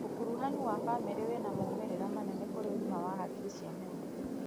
Ũkuruhanu wa bamĩrĩ ĩna maumĩrĩra manene kũrĩ ũgima wa hakiri ya mũndũ.